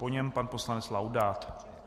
Po něm pan poslanec Laudát.